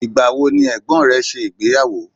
Ìgbà wo ni ẹ̀gbọ́n rẹ ṣe ìgbéyàwó?